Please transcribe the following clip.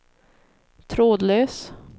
trådlös